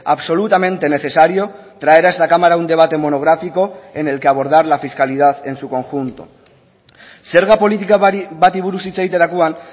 absolutamente necesario traer a esta cámara un debate monográfico en el que abordar la fiscalidad en su conjunto zerga politika bati buruz hitz egiterakoan